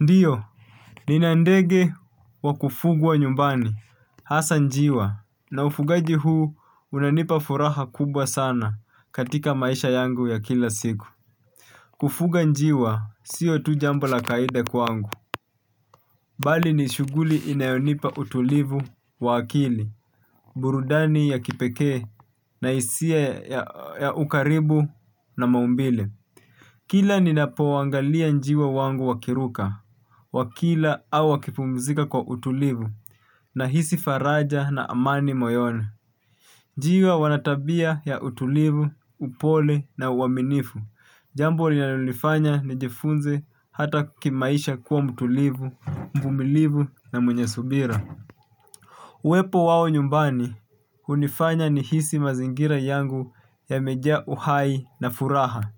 Ndiyo, nina ndege wa kufugwa nyumbani. Hasa njiwa, na ufugaji huu unanipa furaha kubwa sana katika maisha yangu ya kila siku. Kufuga njiwa, siyo tu jambo la kawaida kwangu. Bali ni shughuli inayonipa utulivu wa akili, burudani ya kipekee, na hisia ya ukaribu na maumbile. Kila ninapoangalia njiwa wangu wakiruka, wakila au wakipumzika kwa utulivu nahisi faraja na amani moyoni. Njiwa wana tabia ya utulivu, upole na uaminifu. Jambo linalonifanya nijifunze hata kimaisha kuwa mtulivu, mvumilivu na mwenye subira. Uwepo wao nyumbani, hunifanya nihisi mazingira yangu yamejaa uhai na furaha.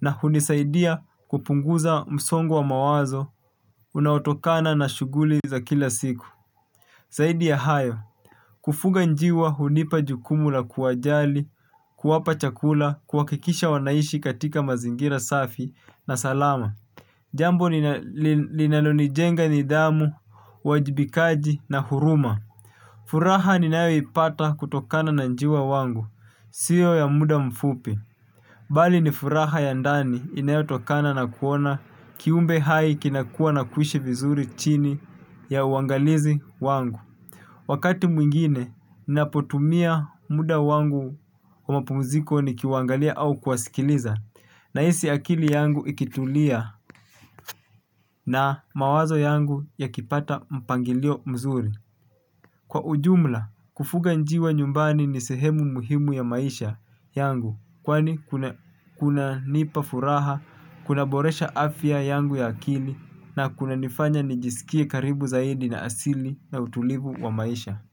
Na hunisaidia kupunguza msongo wa mawazo unaotokana na shughuli za kila siku. Saidi ya hayo, kufuga njiwa hunipa jukumu la kuwajali, kuwapa chakula, kuhakikisha wanaishi katika mazingira safi na salama. Jambo linalonijenga nidhamu, uwajibikaji na huruma. Furaha ninayoipata kutokana na njiwa wangu, siyo ya muda mfupi. Bali ni furaha ya ndani inayotokana na kuona kiumbe hai kinakua na kuishi vizuri chini ya uangalizi wangu. Wakati mwingine, napotumia muda wangu wa mapumziko nikiwaangalia au kuwasikiliza. Nahisi akili yangu ikitulia na mawazo yangu yakipata mpangilio mzuri. Kwa ujumla, kufuga njiwa nyumbani ni sehemu muhimu ya maisha yangu kwani kunanipa furaha, kunaboresha afya yangu ya akili na kunanifanya nijisikie karibu zaidi na asili na utulivu wa maisha.